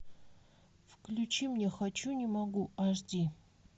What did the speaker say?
включи мне хочу не могу аш ди